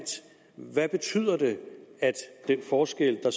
den forskel der